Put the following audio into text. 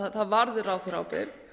að það varði ráðherraábyrgð